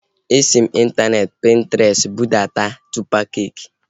Esi m n'intaneeti Pintrestị budata tọpa keeki